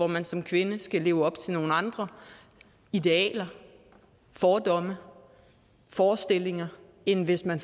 man som kvinde skal leve op til nogle andre idealer fordomme og forestillinger end hvis man